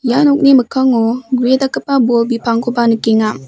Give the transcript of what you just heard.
ia nokni mikkango gue dakgipa bol bipangkoba nikenga.